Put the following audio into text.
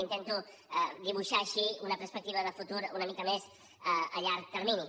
intento dibuixar així una perspectiva de futur una mica més a llarg termini